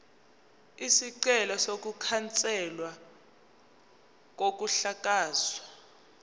isicelo sokukhanselwa kokuhlakazwa